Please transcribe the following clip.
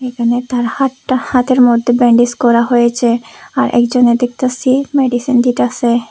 এখানে তার হাতটা হাতের মধ্যে ব্যান্ডেজ করা হয়েছে আর একজনে দেখতাসি মেডিসিন দিতাসে।